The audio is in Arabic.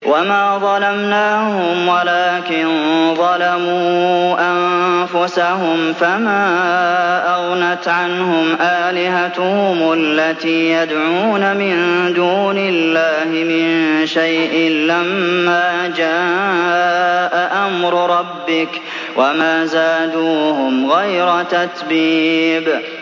وَمَا ظَلَمْنَاهُمْ وَلَٰكِن ظَلَمُوا أَنفُسَهُمْ ۖ فَمَا أَغْنَتْ عَنْهُمْ آلِهَتُهُمُ الَّتِي يَدْعُونَ مِن دُونِ اللَّهِ مِن شَيْءٍ لَّمَّا جَاءَ أَمْرُ رَبِّكَ ۖ وَمَا زَادُوهُمْ غَيْرَ تَتْبِيبٍ